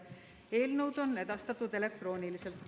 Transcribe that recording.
Eelnõud on edastatud elektrooniliselt.